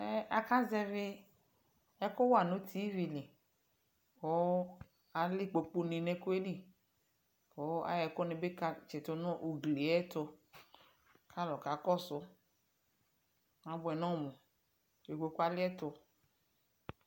Ɛmɛ akazɛvɩ ɛkʋ wa nʋ tivi li kʋ alɛ ikpokunɩ nʋ ɛkʋ yɛ li kʋ ayɔ ɛkʋnɩ ka tsɩtʋ nʋ ugli yɛ tʋ kʋ alʋ kakɔsʋ, abʋɛ nʋ ɔmʋ Ikpoku yɛ alɩɛtʋ